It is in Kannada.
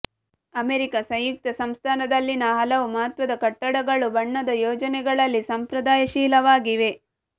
ಅಮೆರಿಕಾ ಸಂಯುಕ್ತ ಸಂಸ್ಥಾನದಲ್ಲಿನ ಹಲವು ಮಹತ್ವದ ಕಟ್ಟಡಗಳು ಬಣ್ಣದ ಯೋಜನೆಗಳಲ್ಲಿ ಸಂಪ್ರದಾಯಶೀಲವಾಗಿವೆ